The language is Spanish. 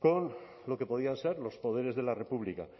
con lo que podían ser los poderes de la república